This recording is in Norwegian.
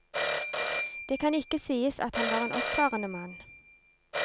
Det kan ikke sies at han var en oppfarende mann.